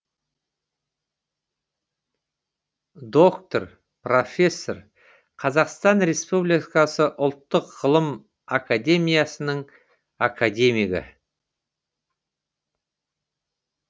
доктор профессор қазақстан республикасы ұлттық ғылым академиясының академигі